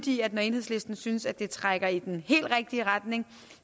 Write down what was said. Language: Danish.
i at når enhedslisten synes at det trækker i den helt rigtige retning